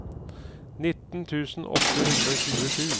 nitten tusen åtte hundre og tjuesju